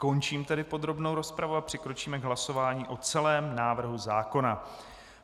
Končím tedy podrobnou rozpravu a přikročíme k hlasování o celém návrhu zákona.